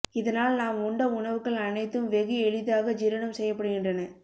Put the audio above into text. இதனால் நாம் உண்ட உணவுகள் அனைத்தும் வெகு எளிதாக ஜீரணம் செய்யப்படுகின்றன